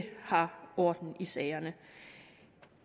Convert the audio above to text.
har orden i sagerne